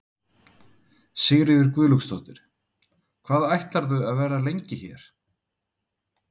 Sigríður Guðlaugsdóttir: Hvað ætlarðu að vera hérna lengi?